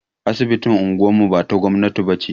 Asibitin unguwar mu ba ta gwamnati ba ce.